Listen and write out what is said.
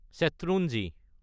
Shetrunji